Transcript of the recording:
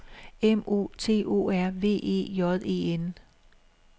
M O T O R V E J E N